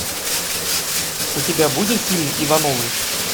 у тебя будет фильм ивановы